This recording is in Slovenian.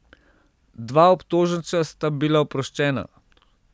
Dva obtoženca sta bila oproščena.